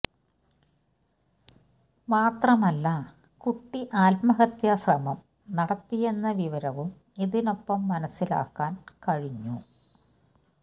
മാത്രമല്ല കുട്ടി ആത്മഹത്യ ശ്രമം നടത്തിയെന്ന വിവരവും ഇതിനൊപ്പം മനസിലാക്കാന് കഴിഞ്ഞു